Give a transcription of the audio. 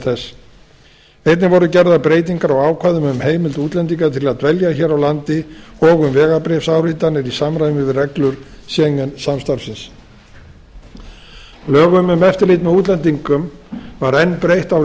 þess einnig voru gerðar breytingar á ákvæðum um heimild útlendinga til að dvelja hér á landi og um vegabréfsáritanir í samræmi við reglur schengen samstarfsins lögum um eftirlit með útlendingum var enn breytt árið